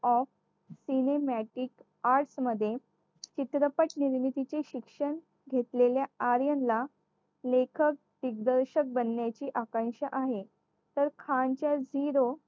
of सिनेम्यातील arts मध्ये चित्रपट निर्मितीतील शिक्षण घेतलेल्या आर्यन ला लेखक दिग्दर्शक बनण्याची आकांक्षा आहे तर खानचा zero